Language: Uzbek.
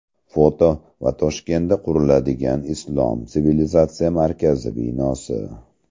Foto va Toshkentda quriladigan Islom sivilizatsiyasi markazi binosi.